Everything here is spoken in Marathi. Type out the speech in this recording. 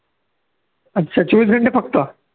अं चोवीस घंटे फक्त